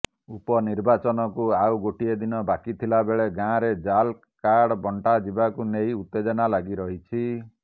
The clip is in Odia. ଉପନିର୍ବାଚନକୁ ଆଉ ଗୋଟିଏ ଦିନ ବାକିଥିବା ବେଳେ ଗାଁରେ ଜାଲ୍ କାର୍ଡ ବଂଟାଯିବାକୁ ନେଇ ଉତ୍ତେଜନା ଲାଗି ରହିଛି